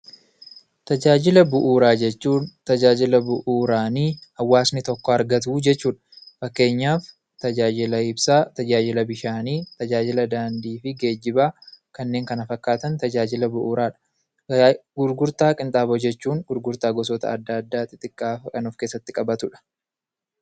Tajaajila bu'uuraa jechuun tajaajila bu'uuraanii hawaasni tokko argatu jechuudha. Fakkeenyaaf tajaajila ibsaa, tajaajila bishaanii, tajaajila daandii fi geejjibaa kanneen Kana fakkaatan tajaajila bu'uuraadha. Gurgurtaa qinxaaboo jechuun gurgurtaa gosoota addaa addaa xixxiqqaa of keessatti qabatudha.